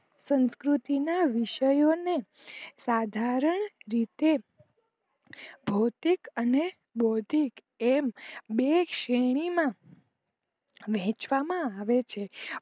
સંસ્કૃતિના વિષયો ને સાધારણ રીતે ભૌતિક અને બૌધિક એમ બે શેર્ણી માં વેચવામાં આવે છે